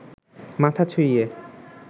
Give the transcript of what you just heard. মাথা ছুইয়ে